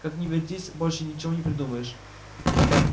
как ни вертись больше ничего не придумаешь